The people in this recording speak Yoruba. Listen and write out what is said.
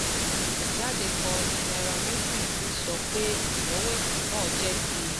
Àtẹ̀jáde kan tí Nairametrics rí sọ pé ìyọ̀wẹ̀sì náà jẹ́ ti